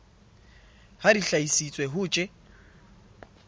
ha di hlahisitswe ho tj